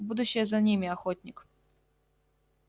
будущее за ними охотник